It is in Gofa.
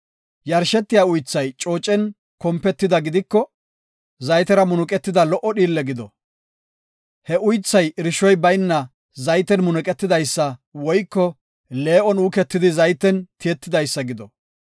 Yarshetiya uythay coocen kompetida gidiko, zaytera munuqetida lo77o dhiille gido. He uythay irshoy bayna zayten munuqetidaysa woyko lee7on uuketidi zayten tiyetidaysa gido.